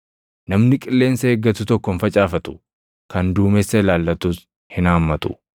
Namni qilleensa eeggatu tokko hin facaafatu; kan duumessa ilaallatus hin haammatu.